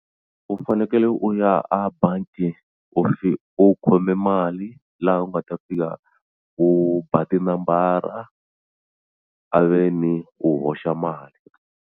U fanekele u ya a bangi u khome mali laha u nga ta fika u ba tinambara a ve ni u hoxa mali.